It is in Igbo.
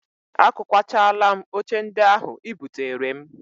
Akụkwachaala m oche ndị ahụ ị buteere m